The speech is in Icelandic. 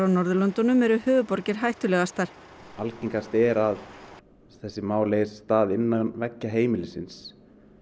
Norðurlöndum eru höfuðborgir hættulegastar algengast er að þessi mál eigi sér stað innan veggja heimilisins